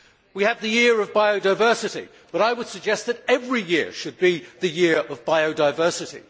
We have the Year of Biodiversity, but I would suggest that every year should be the year of biodiversity.